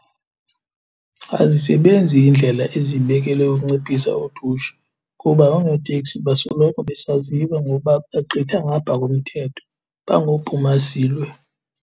Azisebenzi iindlela ezibekelwe ukunciphisa udushe kuba oonoteksi basoloko besaziwa ngoba bagqitha ngaphaa komthetho, bangophuma silwe.